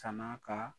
San'a ka